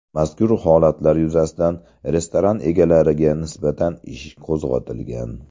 Mazkur holatlar yuzasidan restoran egalariga nisbatan ish qo‘zg‘atilgan.